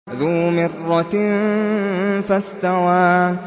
ذُو مِرَّةٍ فَاسْتَوَىٰ